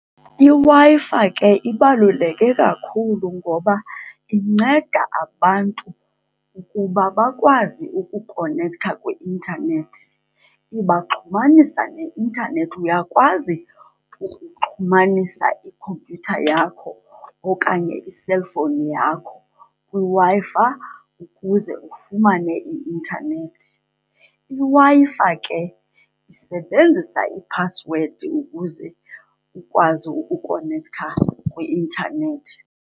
IWi-Fi ke ibaluleke kakhulu ngoba inceda abantu ukuba bakwazi ukukonektha kwi-intanethi. Ibaxhumanisa neintanethi, uyakwazi ukuxhumanisa ikhompyutha yakho okanye iselfowuni yakho kwiWi-Fi ukuze ufumane i-intanethi. IWi-Fi ke isebenzisa iphasiwedi ukuze ukwazi ukukonektha kwi-intanethi.